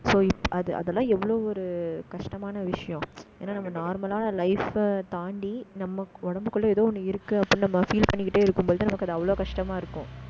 so அது, அதெல்லாம் எவ்ளோ ஒரு, கஷ்டமான விஷயம். ஏன்னா, நம்ம normal ஆ life அ தாண்டி, ஏதோ ஒண்ணு இருக்கு, அப்படீன்னு நம்ம feel பண்ணிக்கிட்டே இருக்கும் பொழுது நமக்கு அது அவ்வளவு கஷ்டமா இருக்கும்